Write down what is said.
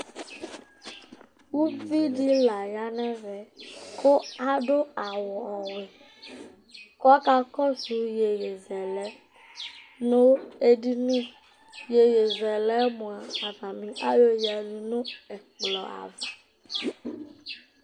uvi di la ya nɛvɛ ku adu awu ɔwɛ ku ɔkakɔsu yeye zɛlɛ nu edini yeye zɛlɛ mʋa ata ni ayoyadu nu ɛkplɔ ava